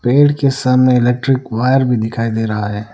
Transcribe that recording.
पेड़ के सामने इलेक्ट्रिक वायर भी दिखाई दे रहा है।